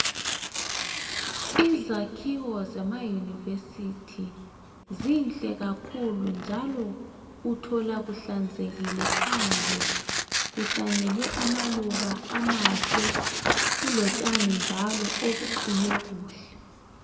Izakhiwo zemayunivesithi zinhle kakhulu njalo uthola kuhlanzekile phandle, kuhlanyelwe amaluba amahle kulotshani njalo obuqunywe kuhle.